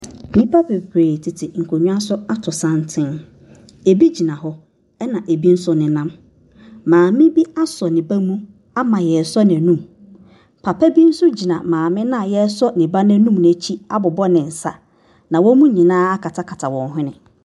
Nnipa bebree tete nkonnwa so ato santen bi gyina hɔ na bi nso nenam. Maame bi asɔ ne ba mu ama yɛresɔ n’anum, papa bi nso gyina maame no a yɛresɔ ne n’anum no akyi abobɔ ne nsa. Na wɔn nyinaa akata wɔn hwene.